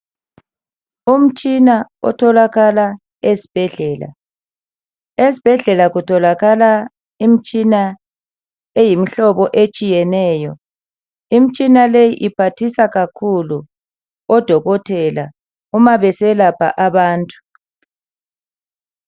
Umtshina otholakala ezibhedlela esibhedlela kutholakala imtshina eyimhlobo etshiyeneyo imtshina leyi iphathisa kakhulu odokotela uma beselapha abantu.